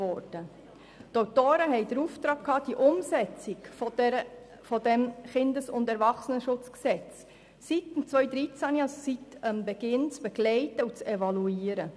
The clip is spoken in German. Die Autoren hatten den Auftrag, die Umsetzung des KESG seit seiner Inkraftsetzung im Jahr 2013 zu begleiten und zu evaluieren.